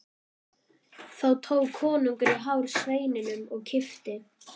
Þá tók konungur í hár sveininum og kippti.